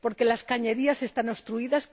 ¿Porque las cañerías están obstruidas?